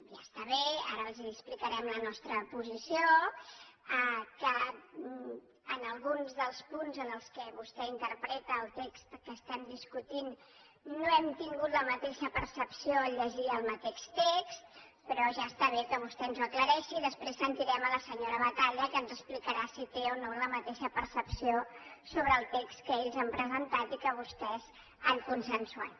ja està bé ara els explicarem la nostra posició que en alguns dels punts en què vostè interpreta el text que estem discutint no hem tingut la mateixa percepció al llegir el mateix text però ja està bé que vostè ens ho aclareixi i després sentirem la senyora batalla que ens explicarà si té o no la mateixa percepció sobre el text que ells han presentat i que vostès han consensuat